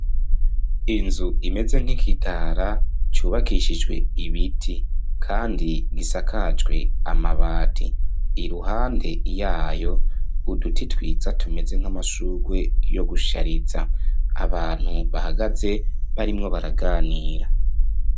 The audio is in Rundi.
Inzu imeze nk'ikitara cubakishijwe ibiti kandi gisakajwe amabati iruhande yayo uduti twiza tumeze nk'amashugwe yo gushariza abantu bahagaze barimwo baraganira.